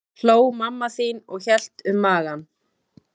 hló mamma þín og hélt um magann.